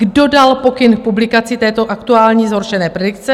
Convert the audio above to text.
Kdo dal pokyn k publikaci této aktuální, zhoršené predikce?